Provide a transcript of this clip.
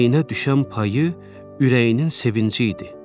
Əməyinə düşən payı ürəyinin sevinci idi.